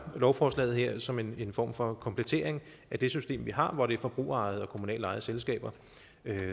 lovforslaget her som en form for komplettering af det system vi har hvor det er forbrugerejede og kommunalt ejede selskaber